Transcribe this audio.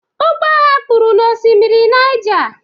Ụgbọ ha kpụrụ n'Osimiri Niger